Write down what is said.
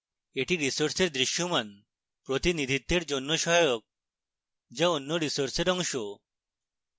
এটি resource দৃশ্যমান প্রতিনিধিত্বের জন্য সহায়ক যা অন্য resource অংশ